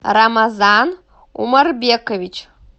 рамазан умарбекович